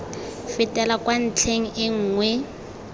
fetela kwa ntlheng e nngwe